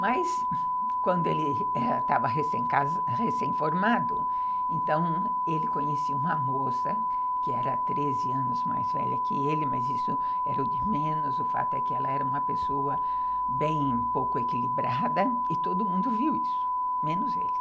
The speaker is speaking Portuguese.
Mas, quando ele estava recém-formado, então, ele conhecia uma moça que era treze anos mais velha que ele, mas isso era o de menos, o fato é que ela era uma pessoa bem pouco equilibrada, e todo mundo viu isso, menos ele.